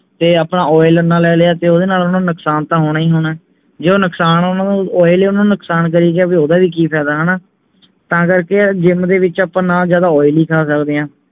ਤੇ ਆਪਾਂ oil ਇੰਨਾ ਲੈ ਲਿਆ ਤਾਂ ਓਹਦੇ ਨਾਲ ਓਹਨਾ ਨੂੰ ਨੁਕਸਾਨ ਤਾ ਹੋਣਾ ਹੀ ਹੋਣਾ ਜੇ ਨੁਕਸਾਨ ਓਹਨਾ ਨੂੰ oil ਨੁਕਸਾਨ ਕਰਿ ਗਿਆ ਫੇਰ ਓਹਦਾ ਵੀ ਕਿ ਫਾਇਦਾ ਹਣਾ ਤਾਂ ਕਰਕੇ gym ਦੇ ਵਿਚ ਨਾ ਆਪਾਂ ਜਿਆਦਾ oily ਖਾ ਸਕਦੇ ਹੈਂ